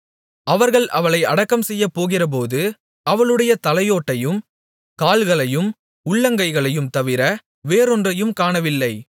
அவர்கள் அவளை அடக்கம்செய்யப்போகிறபோது அவளுடைய தலையோட்டையும் கால்களையும் உள்ளங்கைகளையும் தவிர வேறொன்றையும் காணவில்லை